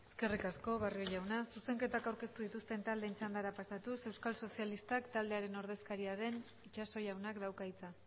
eskerrik asko barrio jauna zuzenketak aurkeztu dituzten taldeen txandara pasatuz euskal sozialistak taldearen ordezkaria den itxaso jaunak dauka hitza